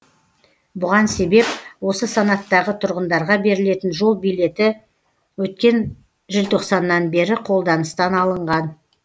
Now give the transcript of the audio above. бұған себеп осы санаттағы тұрғындарға берілетін жол билеті өткен желтоқсаннан бері қолданыстан алынған